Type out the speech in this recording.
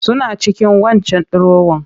Suna cikin waccan dirowar